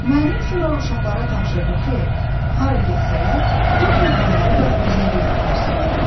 Müəllim sonra uşaqlara tapşırdı ki, hara getsələr, bu torbaları da özləriylə aparsınlar.